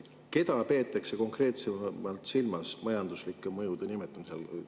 Keda peetakse konkreetselt silmas majanduslike mõjude nimetamisel?